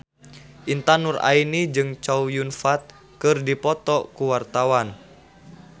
Intan Nuraini jeung Chow Yun Fat keur dipoto ku wartawan